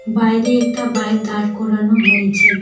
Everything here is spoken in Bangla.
বাইরে একটা বাইক দাঁড় করানো হয়েছে।